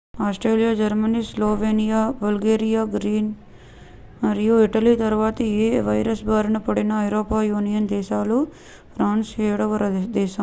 Austria Germany Slovenia Bulgaria Greece మరియు Italy తరువాత ఈ వైరస్ బారిన పడిన ఐరోపా యూనియన్ దేశాలలో ఫ్రాన్స్ ఏడవ దేశం